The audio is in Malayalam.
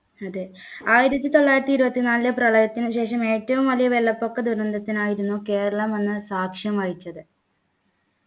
അതെ ആയിരത്തി തൊള്ളായിരത്തി ഇരുപത്തിനാലിലെ പ്രളയത്തിന് ശേഷം ഏറ്റവും വലിയ വെള്ളപ്പൊക്ക ദുരന്തത്തിനായിരുന്നു കേരളം അന്ന് സാക്ഷ്യം വഹിച്ചത്